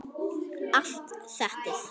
Allt settið